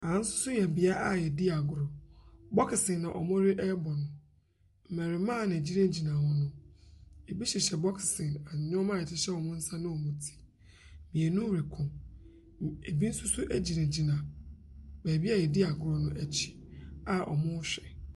Ɛha nso yɛ bea a wɔdi agorɔ. Bokisen na wɔrebɔ no. Mmarimaa na egyinagyina hɔ no. Ebi hyehyɛ boksin nnoɔma a ɛhyehyɛ wɔn nsa ne wɔn ti. Mmienu reko. Ebi nso gyinagyina baabi yɛadi a agoro a wɔrehwɛ.